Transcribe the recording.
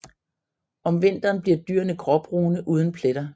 Om vinteren bliver dyrene gråbrune uden pletter